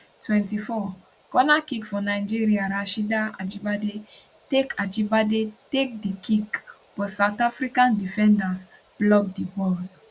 24 corner kick for nigeria rasheedat ajibade take ajibade take di kick but south african defenders block di ball